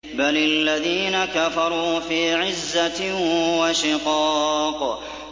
بَلِ الَّذِينَ كَفَرُوا فِي عِزَّةٍ وَشِقَاقٍ